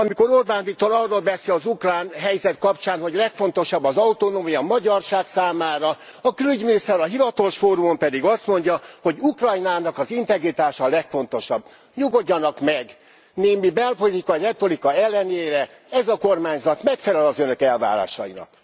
Amikor Orbán Viktor arról beszél az ukrán helyzet kapcsán, hogy legfontosabb az autonómia a magyarság számára, a külügyminiszter a hivatalos fórumon pedig azt mondja, hogy Ukrajnának az integritása a legfontosabb. Nyugodjanak meg, némi belpolitikai retorika ellenére ez a kormányzat megfelel az Önök elvárásainak.